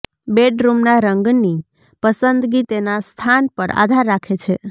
બેડરૂમના રંગની પસંદગી તેના સ્થાન પર આધાર રાખે છે